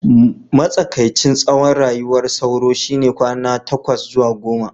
matsakaicin tsawon rayuwar sauro shine kwana takwas zuwa goma